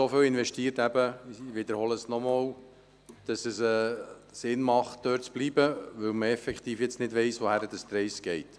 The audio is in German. Daher ist es sinnvoll, dort zu bleiben, auch weil man nicht weiss, wohin die Reise geht.